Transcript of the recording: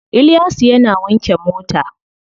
Iliyasu yana wanke mota.